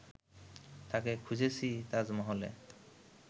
তাকে খুঁজেছি তাজমহলে